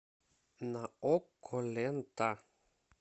на окко лента